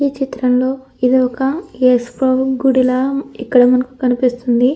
ఈ చిత్రంలో ఇది ఒక యేసు ప్రభు గుడిలా ఇక్కడ మనకు కనిపిస్తుంది.